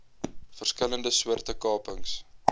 verskillende soorte kapings